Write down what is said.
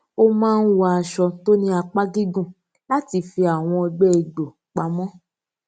ó máa ń wọ aṣọ tó ní apá gígùn láti fi àwọn ọgbé egbò pa mó